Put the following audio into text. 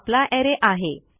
हा आपला अरे आहे